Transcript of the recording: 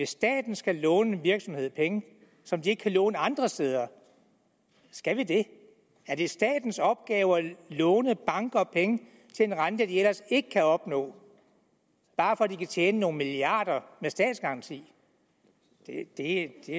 staten skal låne en virksomhed penge som den ikke kan låne andre steder skal vi det er det statens opgave at låne banker penge til en rente de ellers ikke kan opnå bare for at de kan tjene nogle milliarder med statsgaranti det